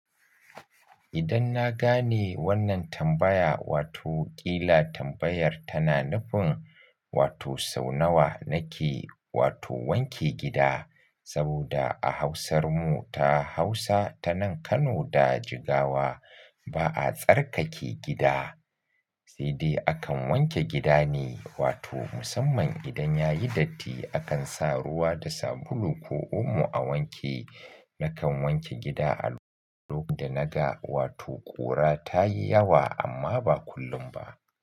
Idan na gane wannan tambaya, wato ƙila tambayar tana nufin wato sau nawa nake wato wanke gida, saboda a hausarmu ta Hausa ta nan Kano da Jigawa ba a tsarkake gida, sai dai akan wanke gida ne. Wato musamman idan yayi datti akan sa ruwa da sabulu ko omo a wanke. Nakan wanke gida a lokacin da naga wato ƙura ta yi yawa amma ba kullum ba.